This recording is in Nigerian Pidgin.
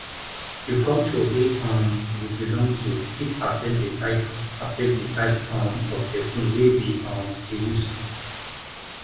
di culture wey um we belong to fit affect di type affect di type um of perfume wey we um dey use